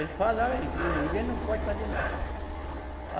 Eles falaram aí que não, ninguém não pode fazer nada.